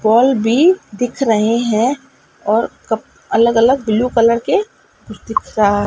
ball भी दिख रहे हैं और क अलग-अलग ब्लू कलर के कुछ दिख रहा --